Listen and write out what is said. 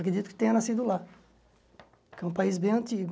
Acredito que tenha nascido lá, que é um país bem antigo.